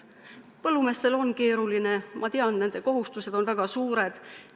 Põllumeestel on keeruline, ma tean, nende kohustused on väga suured.